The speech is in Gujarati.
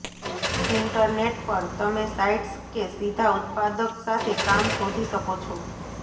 ઇન્ટરનેટ પર તમે સાઇટ્સ કે સીધા ઉત્પાદક સાથે કામ શોધી શકો છો